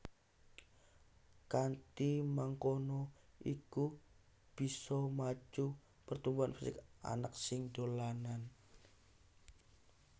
Kanthi mangkono iku bisa macu pertumbuhan fisik anak sing dolanan